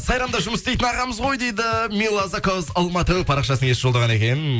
сайрамда жұмыс істейтін ағамыз ғой дейді мила закаус алматы парақшасының иесі жолдаған екен